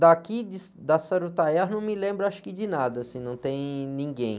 Daqui de, da Sarutaiá eu não me lembro acho que de nada, assim, não tem ninguém.